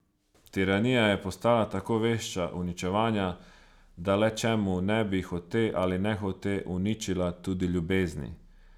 Tiranija je postala tako vešča uničevanja, da le čemu ne bi, hote ali nehote, uničila tudi ljubezni?